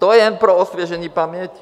To jen pro osvěžení paměti.